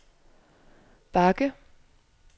bakke